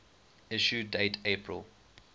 issue date april